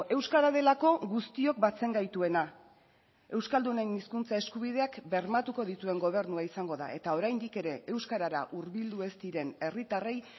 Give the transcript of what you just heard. euskara delako guztiok batzen gaituena euskaldunen hizkuntza eskubideak bermatuko dituen gobernua izango da eta oraindik ere euskarara hurbildu ez diren herritarrei